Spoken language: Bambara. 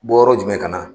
Bɔ yɔrɔ jumɛn ka na